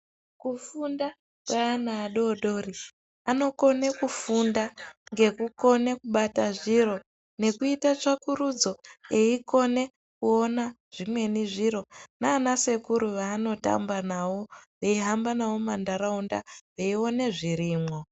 Kufunda kwaana adodori, anokone kufunda ngekukone kubata zviro nekuita tsvakurudzo aikone kuona zvimweni zviro nana sekuru vaanotamba nawo veihamba nawo mumantaraunda veione zvirimwo.